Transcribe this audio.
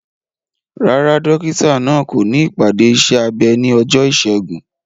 Rárá, dókítà náà kò ní ìpàdé iṣẹ́ abẹ ní ọjọ́ Ìṣẹ́gun.